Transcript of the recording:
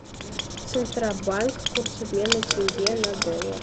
центробанк курс обмена тенге на доллар